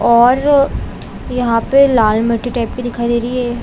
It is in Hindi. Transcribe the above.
और यहाँ पे लाल मिट्टी टाइप दिखाई दे रही है।